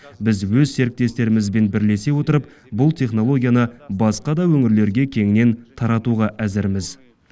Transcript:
біз өз серіктестерімізбен бірлесе отырып бұл технолгияны басқа да өңірлерге кеңінен таратуға әзірміз